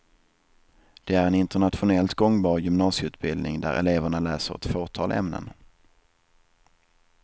Det är en internationellt gångbar gymnasieutbildning där eleverna läser ett fåtal ämnen.